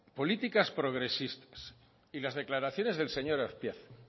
políticas progresistas y las declaraciones del señor azpiazu